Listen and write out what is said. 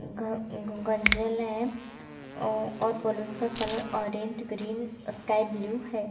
घर गंजेल है और बैलून का कलर ऑरेंज ग्रीन स्काईब्लू है ।